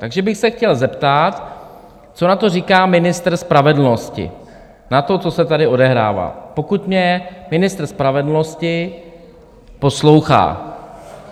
Takže bych se chtěl zeptat, co na to říká ministr spravedlnosti, na to, co se tady odehrává, pokud mě ministr spravedlnosti poslouchá.